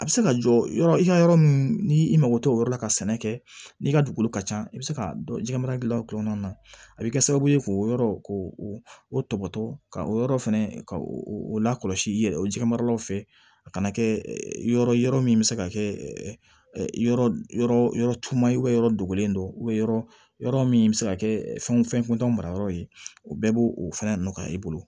A bɛ se ka jɔ yɔrɔ i ka yɔrɔ ni i mako t'o yɔrɔ la ka sɛnɛ kɛ n'i ka dugukolo ka ca i bɛ se k'a dɔn jɛgɛmara dilan kɔnɔna na a bɛ kɛ sababu ye k'o yɔrɔ ko o tɔbɔtɔ ka o yɔrɔ fɛnɛ ka o lakɔlɔsi i yɛrɛ o jɛgɛmaralaw fɛ a kana kɛ yɔrɔ yɔrɔ min bɛ se ka kɛ yɔrɔ yɔrɔ tun ye yɔrɔ dogolen don yɔrɔ yɔrɔ min bɛ se ka kɛ fɛnw fɛn kɔntan mara yɔrɔ ye o bɛɛ b'o o fana nɔ i bolo